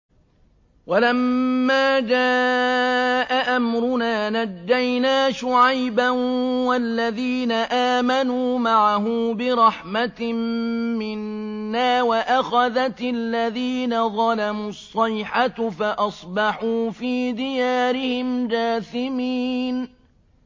وَلَمَّا جَاءَ أَمْرُنَا نَجَّيْنَا شُعَيْبًا وَالَّذِينَ آمَنُوا مَعَهُ بِرَحْمَةٍ مِّنَّا وَأَخَذَتِ الَّذِينَ ظَلَمُوا الصَّيْحَةُ فَأَصْبَحُوا فِي دِيَارِهِمْ جَاثِمِينَ